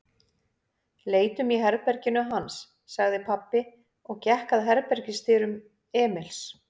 Leitum í herberginu hans, sagði pabbi og gekk að herbergisdyrum Emils.